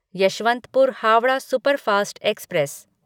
Yesvantpur Howrah superfast express